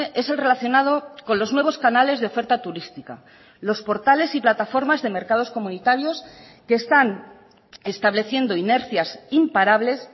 es el relacionado con los nuevos canales de oferta turística los portales y plataformas de mercados comunitarios que están estableciendo inercias imparables